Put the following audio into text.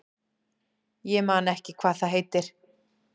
Ég man ekki hvað það heitir.